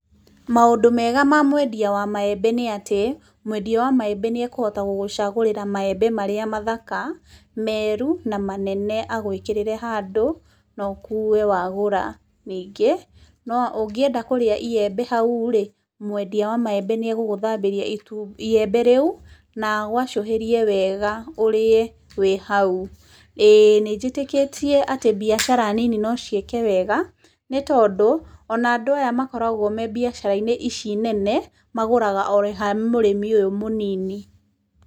Maũndũ mega ma mwendia wa maembe nĩ atĩ, mwendia wa maembe nĩ ekũhota gũgũcagũrĩra maembe marĩa mathaka, meru na manene agwĩkĩrĩre handũ no ũkue wagũra. Ningĩ, ũngĩenda kũrĩa iembe hau rĩ, mwendia wa maembe nĩ egũgũthambĩria rĩembe rĩu na agwacũhĩrie wega ũrĩe wĩ hau. Ĩĩ nĩ njĩtĩkĩtie atĩ mbiacara nyinyi no ciĩke wega, nĩ tondũ ona andũ aya makoragwo me mbiacara-inĩ ici nene magũraga o ha mũrĩmi ũyũ mũnini.